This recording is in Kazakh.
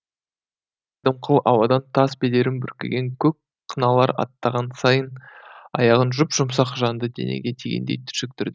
дымқыл ауадан тас бедерін бүркеген көк қыналар аттаған сайын аяғын жұп жұмсақ жанды денеге тигендей түршіктірді